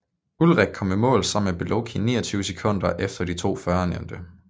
Ullrich kom i mål sammen med Beloki 29 sekunder efter de to førnævnte